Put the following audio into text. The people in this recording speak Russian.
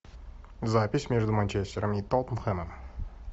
запись между манчестером и тоттенхэмом